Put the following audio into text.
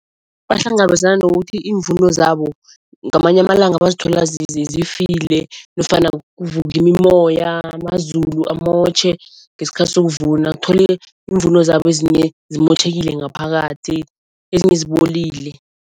Bahlangabezana nokuthi iimvuno zabo ngamanye amalanga bazithola zifile nofana kuvuke imimoya, amazulu amotjhe ngesikhathi sokuvuna, uthole iimvuno zabo ezinye zimotjhekile ngaphakathi ezinye zibolile.